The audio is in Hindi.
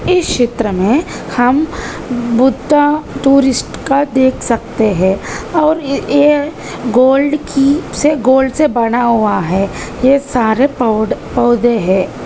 इस चित्र में हम बुत्ता टूरिस्ट का देख सकते हैं और ये गोल्ड की से गोल्ड से बना हुआ है। ये सारे पोड पौधे हैं।